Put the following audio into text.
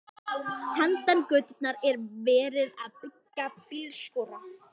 Handan götunnar er verið að byggja bílskúra.